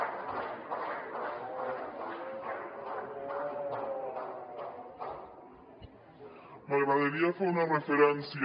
m’agradaria fer una referència